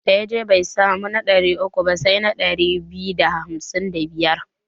Da ya je bai samu na ɗari uku ba sai ɗari biyu da hamsin da biyar.